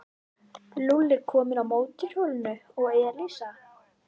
Lúlli kominn á mótorhjól og Elísa.